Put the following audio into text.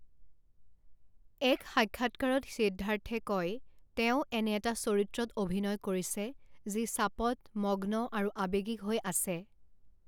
এক সাক্ষাৎকাৰত সিদ্ধাৰ্থে কয়, তেওঁ এনে এটা চৰিত্ৰত অভিনয় কৰিছে যি চাপত, মগ্ন আৰু আৱেগিক হৈ আছে।